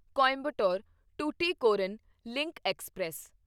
Coimbatore Tuticorin link express